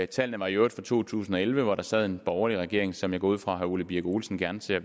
tallene var i øvrigt fra to tusind og elleve hvor der sad en borgerlig regering som jeg går ud fra at herre ole birk olesen gerne ser